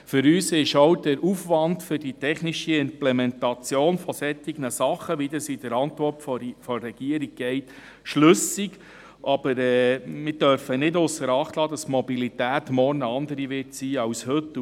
Für uns ist auch der Aufwand für die technische Implementation von solchen Dingen schlüssig, wie das in der Antwort der Regierung steht, aber wir dürfen nicht ausser Acht lassen, dass die Mobilität morgen eine andere sein wird als heute.